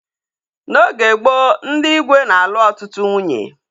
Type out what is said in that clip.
N'oge gboo, ndị igwe na-alu ọtụtụ nwunye